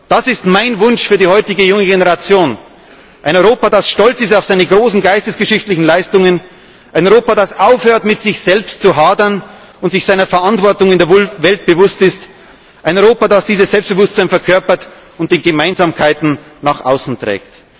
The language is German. Das ist mein Wunsch für die heutige junge Generation ein Europa, das stolz ist auf seine großen geistesgeschichtlichen Leistungen, ein Europa, das aufhört, mit sich selbst zu hadern, und sich seiner Verantwortung in der Welt bewusst ist, ein Europa, das dieses Selbstbewusstsein verkörpert und die Gemeinsamkeiten nach außen